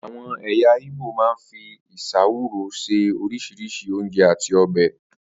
Àwo̩n è̩yà Ìgbò máa ń fi ìs̩áwùrú se orís̩irís̩i oúnje̩ àti o̩bè̩